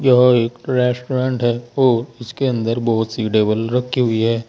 यह एक रेस्टोरेंट है और इसके अंदर बहोत सी टेबल रखी हुई है।